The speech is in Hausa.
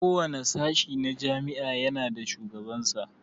Kowane sashe a jami'a ya na da shugaban sa